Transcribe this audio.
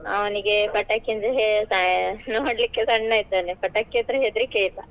ಅವ್ನಿಗೆ ಪಟಾಕಿ ಅಂದ್ರೆ ನೋಡ್ಲಿಕ್ಕೆ ಸಣ್ಣ ಇದ್ದಾನೆ ಪಟಾಕಿ ಅಂದ್ರೆ ಹೆದ್ರಿಕೆ ಈಗ.